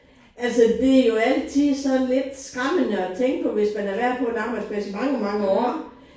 Altså det jo altid sådan lidt skræmmende at tænke på hvis man har været på en arbejdsplads i mange mange år